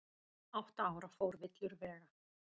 Átta ára fór villur vega